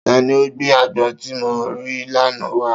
Ta ni o gbé àgbọn tí mo rí l'ana wá